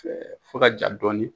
fo ka ja dɔɔni.